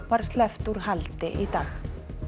var sleppt úr haldi í dag